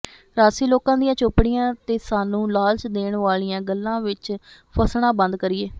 ਰਾਜਸੀ ਲੋਕਾਂ ਦੀਆਂ ਚੋਪੜੀਆਂ ਤੇ ਸਾਨੂੰ ਲਾਲਚ ਦੇਣ ਵਾਲੀਆਂ ਗੱਲਾਂ ਵਿਚ ਫਸਣਾ ਬੰਦ ਕਰੀਏ